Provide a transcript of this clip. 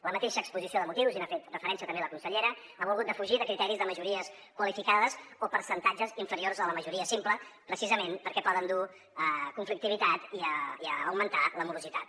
la mateixa exposició de motius i n’ha fet referència també la consellera ha volgut defugir de criteris de majories qualificades o percentatges inferiors a la majoria simple precisament perquè poden dur conflictivitat i augmentar la morositat